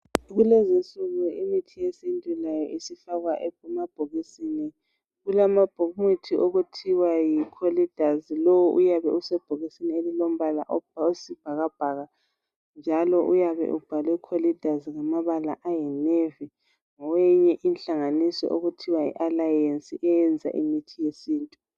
Kulezinsuku imithi yesintu layo isifakwa emabhokisini kulama mithi okuthiwa yi choleduz lo uyabusebhokisini elilombala owesibhakabhaka njalo uyabe ubhalwe choleduz ngamabala ayi nevy ngoweyinye inhlanganiso okuthiwa yi aaliance eyenza imithi yesintu.